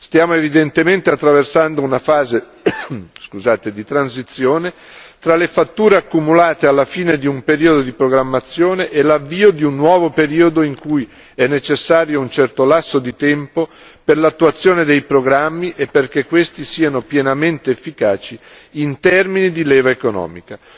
Stiamo evidentemente attraversando una fase di transizione tra le fatture accumulate alla fine di un periodo di programmazione e l'avvio di un nuovo periodo in cui è necessario un certo lasso di tempo per l'attuazione dei programmi e perché questi siano pienamente efficaci in termini di leva economica.